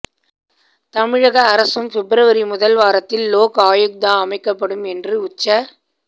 தமிழக அரசும் பிப்ரவரி முதல் வாரத்தில் லோக் ஆயுக்தா அமைக்கப்படும் என்று உச்ச